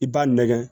I b'a nɛgɛn